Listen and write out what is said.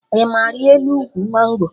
Ị ma arịa elu ụkwụ mango?